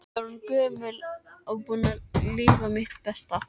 Ég er orðin gömul og búin að lifa mitt besta.